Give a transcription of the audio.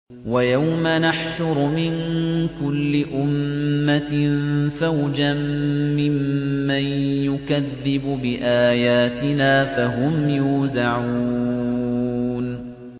وَيَوْمَ نَحْشُرُ مِن كُلِّ أُمَّةٍ فَوْجًا مِّمَّن يُكَذِّبُ بِآيَاتِنَا فَهُمْ يُوزَعُونَ